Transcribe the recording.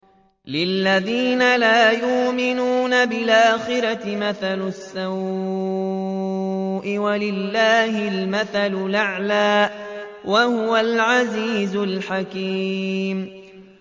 لِلَّذِينَ لَا يُؤْمِنُونَ بِالْآخِرَةِ مَثَلُ السَّوْءِ ۖ وَلِلَّهِ الْمَثَلُ الْأَعْلَىٰ ۚ وَهُوَ الْعَزِيزُ الْحَكِيمُ